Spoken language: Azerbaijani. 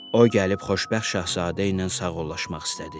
O gəlib xoşbəxt Şahzadəylə sağollaşmaq istədi.